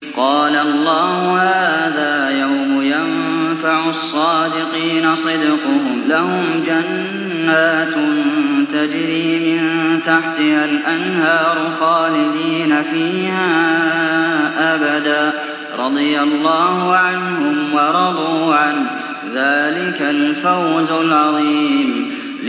قَالَ اللَّهُ هَٰذَا يَوْمُ يَنفَعُ الصَّادِقِينَ صِدْقُهُمْ ۚ لَهُمْ جَنَّاتٌ تَجْرِي مِن تَحْتِهَا الْأَنْهَارُ خَالِدِينَ فِيهَا أَبَدًا ۚ رَّضِيَ اللَّهُ عَنْهُمْ وَرَضُوا عَنْهُ ۚ ذَٰلِكَ الْفَوْزُ الْعَظِيمُ